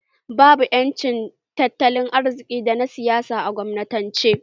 Babu ƴancin tattalin arziki da na siyasa a kwamunanci